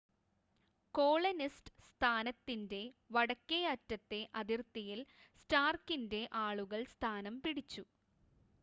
colonist സ്ഥാനത്തിൻ്റെ വടക്കേ അറ്റത്തെ അതിർത്തിയിൽ സ്റ്റാർക്കിൻ്റെ ആളുകൾ സ്ഥാനം പിടിച്ചു